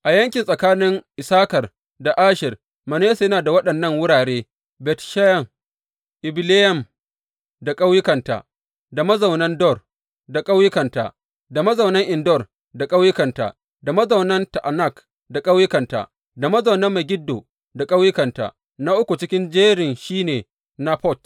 A yanki tsakanin Issakar da Asher, Manasse yana da waɗannan wurare, Bet Sheyan, Ibileyam da ƙauyukanta, da mazaunan Dor da ƙauyukanta, da mazaunan En Dor da ƙauyukanta, da mazaunan Ta’anak da ƙauyukanta, da mazaunan Megiddo da ƙauyukanta Na uku cikin jerin shi ne Nafot.